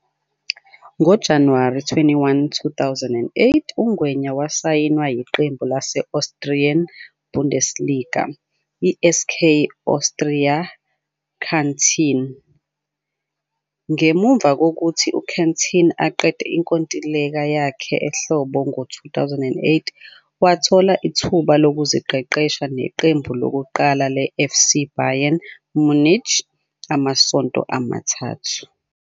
NgoJanuwari 21, 2008,uNgwenya wasayinwa yiqembu lase-Austrian Bundesliga i-SK Austria Kärnten. Ngemuva kokuthi uKärnten eqede inkontileka yakhe ehlobo ngo-2008 wathola ithuba lokuziqeqesha neqembu lokuqala leFC Bayern Munich amasonto amathathu.